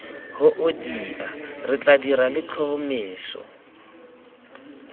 hoodia re tla dira letlhomeso